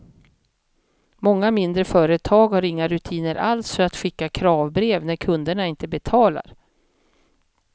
Många mindre företag har inga rutiner alls för att skicka kravbrev när kunderna inte betalar.